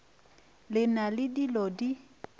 le na le dilo di